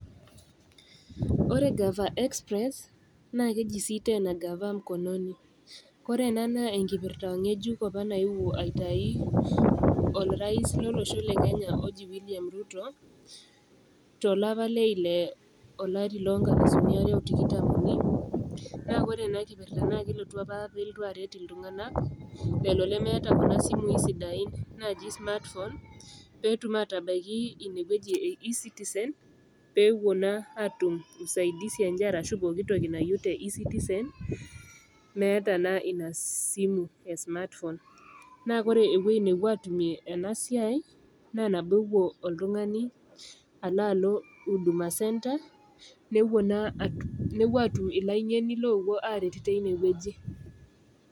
Ore gava express naa keji sii tena gava mkononi kore ena naa enkipirrta ng'ejuk apa nayewuo aitai orais lolosho le kenya oji William Ruto tolapa leile olari lonkalisuni are otikitam uni naa kore ena kipirrta naa kelotu apa pelotu aret iltunga'anak lelo lemeeta kuna simui sidain naaji smartphone petum atabaiki inewueji e e citizen pepuo naa atum usaidisi enye arashu pokitoki nayieu te e citizen meeta naa ina simu e smartphone naa kore ewueji nepuo atumie ena siai naa enabokuo oltung'ani alo alo huduma centre nepuo naa atum nepuo atum ilaing'eni lopuo aret teine wueji.